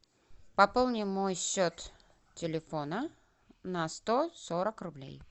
пополни мой счет телефона на сто сорок рублей